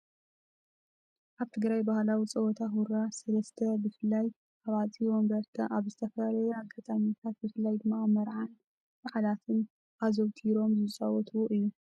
ኣብ ትግራይ ባህላዊ ፀወታ ሁራ ሰለስተ ብፍላይ ኣብ ኣፅቢ ወንበርታ ኣብ ዝተፈላለዩ አጋጣሚታት ብፍላይ ድማ ኣብ መርዓን በዓላትን ኣዘውቲሮም ዝፃወትዎ እዩ።